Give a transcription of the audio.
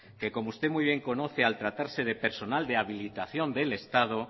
que como usted muy bien conoce al tratarse de personal de habilitación del estado